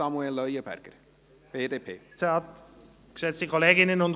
Grossrat Leuenberger hat das Wort für die BDP.